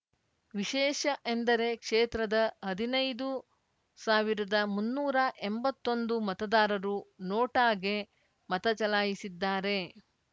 ವಿಶೇಷ ಎಂದರೆ ಕ್ಷೇತ್ರದ ಹದಿನೈದು ಸಾವಿರದಮುನ್ನೂರ ಎಂಬತ್ತೊಂದು ಮತದಾರರು ನೋಟಾಗೆ ಮತಚಲಾಯಿಸಿದ್ದಾರೆ